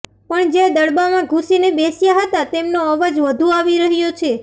પણ જે દડબામાં ઘુસીને બેસ્યા હતા તેમનો અવાજ વધુ આવી રહ્યો છે